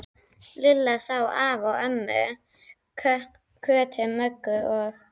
Lilla sá afa og ömmu, Kötu, Möggu og